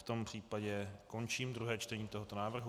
V tom případě končím druhé čtení tohoto návrhu.